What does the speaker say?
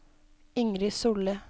Ingrid Solli